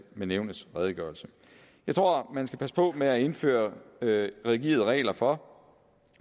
med nævnets redegørelse jeg tror at man skal passe på med at indføre rigide regler for